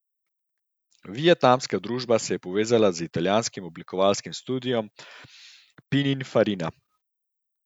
Vietnamska družba se je povezala z italijanskim oblikovalskim studiem Pininfarina.